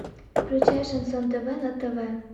включай шансон тв на тв